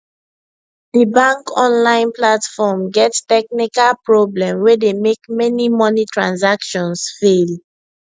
the bank online platform get technical problem wey dey make many money transactions fail